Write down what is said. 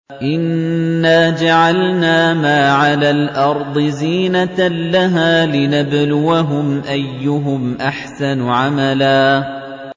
إِنَّا جَعَلْنَا مَا عَلَى الْأَرْضِ زِينَةً لَّهَا لِنَبْلُوَهُمْ أَيُّهُمْ أَحْسَنُ عَمَلًا